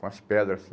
Com as pedras assim.